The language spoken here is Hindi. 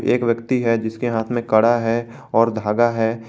एक व्यक्ति है जिसके हाथ में कड़ा है और धागा है।